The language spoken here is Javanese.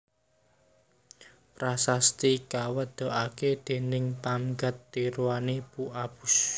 Prasasti kawetokaké déning Pamgat Tirutanu Pu Apus